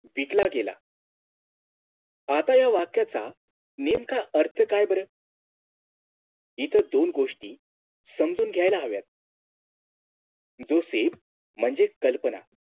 विटला गेला आता या वाक्याचा नेमका अर्थ काय बरं इथं दोन गोष्टी समजून घ्यायला हव्यात Joseph म्हणजेच कल्पना